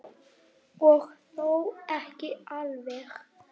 Og þó ekki alveg.